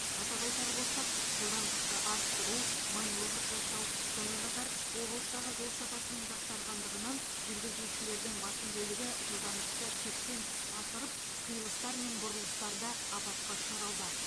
атап айтар болсақ жылдамдықты арттыру маневр жасау сонымен қатар облыстағы жол сапасының жақсарғандығынан жүргізушілердің басым бөлігі жылдамдықты шектен тыс асырып қиылыстар мен бұрылыстарда апатқа ұшырауда